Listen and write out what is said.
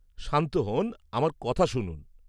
শান্ত হন আর আমার কথা শুনুন।